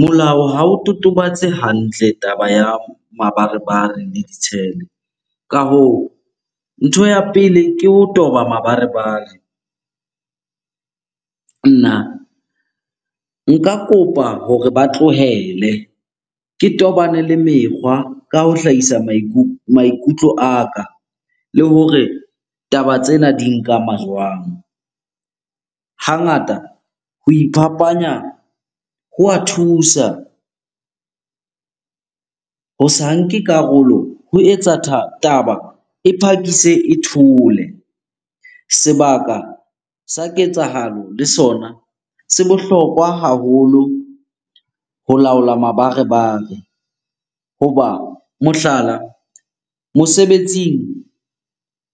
Molao ha o totobatse hantle taba ya mabarebare le di tshele. Ka hoo, ntho ya pele ke ho toba mabarebare. Nna nka kopa hore ba tlohele, ke tobane le mekgwa ka ho hlahisa maikutlo a ka le hore taba tsena di nkama jwang? Hangata ho iphapanya ho wa thusa, ho sa nke karolo ho etsa taba e phakise e thole. Sebaka sa ketsahalo le sona se bohlokwa haholo ho laola mabarebare. Hoba mohlala, mosebetsing